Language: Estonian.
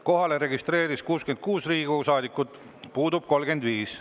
Kohalolijaks registreerus 66 Riigikogu saadikut, puudub 35.